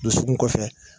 Dusukun kɔfɛ